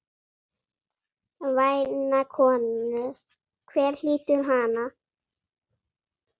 Væna konu, hver hlýtur hana?